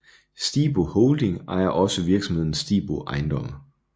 Stibo Holding ejer også virksomheden Stibo Ejendomme